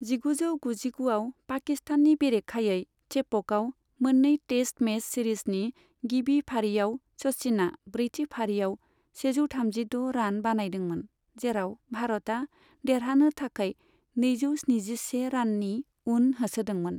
जिगुजौ गुजिगु आव पाकिस्ताननि बेरेखायै चेपकआव मोन्नै टेस्ट मैच सिरिजनि गिबि फारिआव सचिनआ ब्रैथि फारिआव सेजौथामजिद' रान बानायदोंमोन, जेराव भारतआ देरहानो थाखाय नैजौस्निजिसे राननि उन होसोदोंमोन।